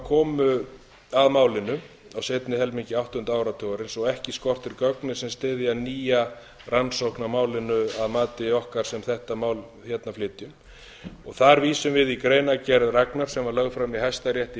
komu að málinu á seinni helmingi áttunda áratugarins og ekki skortir gögnin sem styðja nýja rannsókn á málinu að mati okkar sem þetta mál hérna flytjum þar vísum við í greinargerð ragnars sem lögð var fram í hæstarétti í